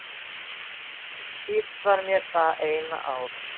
Dýrt var mér það eina ár.